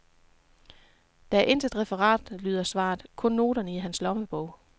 Der er intet referat, lyder svaret, kun noterne i hans lommebog.